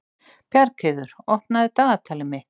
Bjargheiður, opnaðu dagatalið mitt.